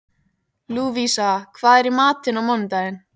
Lúvísa, hvað er í matinn á mánudaginn?